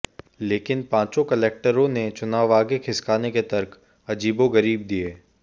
लेकिन पांचों कलेक्टरों ने चुनाव आगे खिसकाने के तर्क अजीबोगरीब दिए